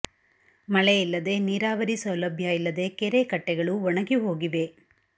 ಮಳೆ ಇಲ್ಲದೆ ನೀರಾವರಿ ಸೌಲಭ್ಯ ಇಲ್ಲದೆ ಕೆರೆ ಕಟ್ಟೆಗಳು ಒಣಗಿ ಹೋಗಿವೆ